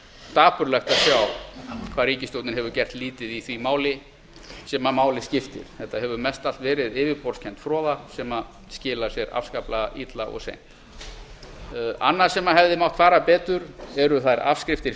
dapurlegt að sjá hvað ríkisstjórnin hefur gert lítið í því máli sem máli skiptir þetta hefur mestallt verið yfirborðskennd froða sem skilar sér afskaplega illa og seint annað sem hefði mátt fara betur er þær afskriftir